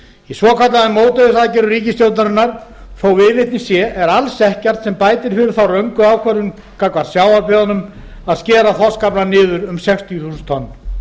í svokölluðum mótvægisaðgerðum ríkisstjórnar þótt viðleitni sé er alls ekkert sem bætir fyrir þá röngu ákvörðun gagnvart sjávarbyggðum að skera þorskaflann niður um sextíu þúsund tonn